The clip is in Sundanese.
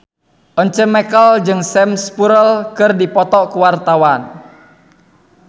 Once Mekel jeung Sam Spruell keur dipoto ku wartawan